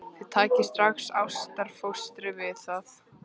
Þið takið strax ástfóstri við það.